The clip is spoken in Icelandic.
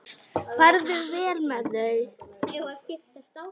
Farðu vel með þau.